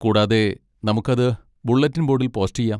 കൂടാതെ, നമുക്ക് അത് ബുള്ളറ്റിൻ ബോഡിൽ പോസ്റ്റ് ചെയ്യാം.